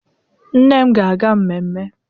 Nne m ga-aga ememe.